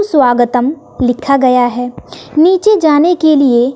स्वागतम लिखा गया हैं नीचे जाने के लिए--